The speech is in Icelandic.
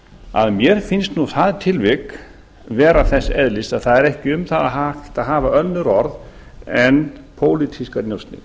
að mér finnst það tilvik vera þess eðlis að það er ekki hægt að hafa um það önnur orð en pólitískar njósnir